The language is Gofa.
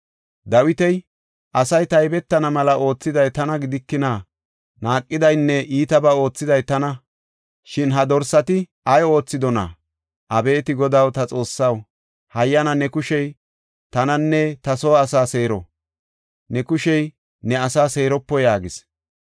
Dawiti, “Asay taybetana mela oothiday tana gidikina? Naaqidaynne iitabaa oothiday tana. Shin ha dorsati ay oothidona? Abeeti Godaw, ta Xoossaw, hayyana ne kushey tananne ta soo asaa seero. Ne kushey ne asaa seeropo!” yaagis.